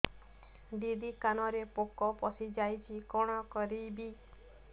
ଦିଦି କାନରେ ପୋକ ପଶିଯାଇଛି କଣ କରିଵି